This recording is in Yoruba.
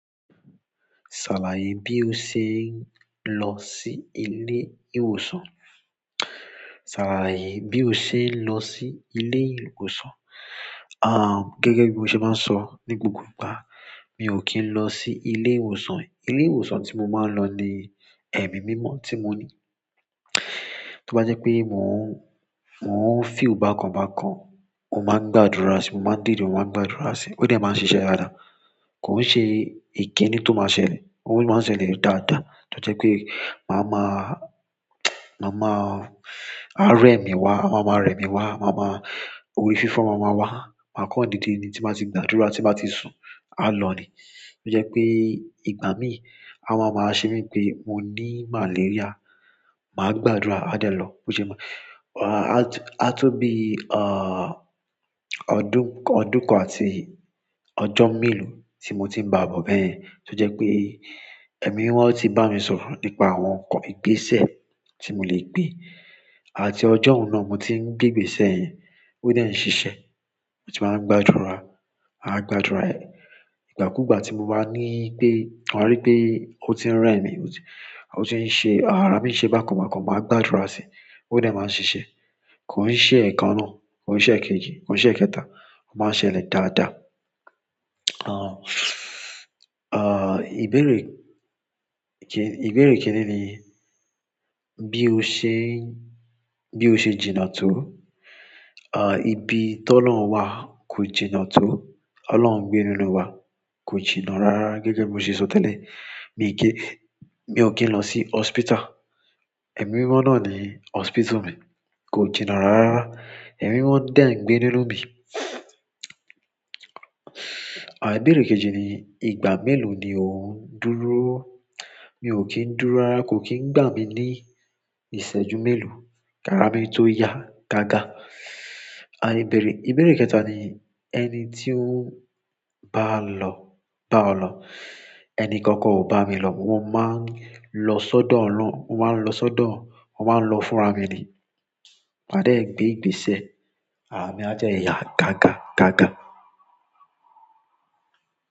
Ṣàlàyé bí o ṣe ń lọ sí ilé ìwòsàn. Ṣàlàyé bí o ṣe ń lọ sí ilé ìwòsàn. Aah gẹ́gẹ́ bí mo ṣe maá ń sọ ní gbogbo ìgbà, mi ò kí ń lọ sí ilé ìwòsàn. Ilé ìwòsàn tí mo máa ń lọ ni ẹ̀mí mímọ́ tí mo ní. Tó bá jẹ́ pé mò ń, mò ń feel bákan bákan, mo máa ń gba àdúrà sí i, mo máa ń dìde, mo máa n gba àdúrà sí i, ó dẹ̀ máa n ṣiṣẹ́ dáadáa. Kò ń ṣe ìkìni tó máa ṣẹlẹ̀. Òun máa ń ṣẹlẹ̀ daada. Tó jẹ́ pé màá máa màá máa arẹ mí wá, à wá máa rẹ mí wá, màá máa orí fífọ́ máa máa wá, màá kán dìde ni tí n ba ti gba àdúrà, tí bà ti sùn, a lọ ni. Tó jẹ́ pé ìgbà mi, a wa máa ṣe mí bipé mo ní màlaríà, màá gba àdúrà, a dẹ̀ ló. Bo ṣe é máa-- a to, a tó bí à ọdún kọ, ọdún kan àti ọjọ́ mélòó tí mo ti ń báà bọ́ bẹ́ẹ̀yen. Tó jẹ́ pé ẹ̀mí mímọ́ ti bá mi sọ̀rọ̀ nípa àwọn ǹkan ìgbésẹ̀ tí mo lè gbè, àti ọjọ́ hun náà mo ti ń gbé ìgbésẹ̀ yẹn, ó dẹ̀ ń ṣiṣẹ́. Mo ti máa ń gba àdúrà, a gba àdúrà ẹ. Ìgbà kú ìgbà tí mo bá ní pé wa rí pé ó ti ń rẹ mí, ó ti ń ṣe, àrá mi ṣe bákan bákan, màá gba àdúrà sí i, ó dẹ̀ máa ń ṣiṣẹ́. Kò ń ṣe ẹ̀ẹ̀kan náà, kò ń ṣe èkéji, kò ń ṣe èkẹta, ó máa ń ṣẹlẹ̀ dáadáa. Aah aah ìbéèrè ké, ìbéèrè kini ni bí o ṣe ń, bí o ṣe jìnà tó. Aah ibi toloun wà kò jìnnà tó. Ọlọ́run ń gbé nínú wa, kò jìnnà rárára. Gẹ́gẹ́ bí mo ṣe sọ tẹ́lẹ̀, mi i kin, mi ò kí ń lọ sí hospital. Ẹ̀mí mímọ́ náà ni hospital mi. Kò jìnnà rárá. Ẹ̀mí mímọ́ de ń gbé nínú mi. À ìbéèrè kẹ́ji ni ìgbà mélòó ni o ń dúró. Mi ò kí ń dúró rárá, kò kí ń gbà mí ní ìṣẹ́jú mélòó. Kará mi tó ya gágá. À ìbéèrè, ìbéèrè kẹta ni ẹni tí o ń bá lọ, bá ọ lọ. Ẹni kankan ò bá mi lọ. Mo maa n lo sodo oloun, mo maa n lo sodo, mo maa n lo fún ra mi ni màá dé ẹ gbé ìgbésẹ̀, àrà mi á dẹ yá gága gága.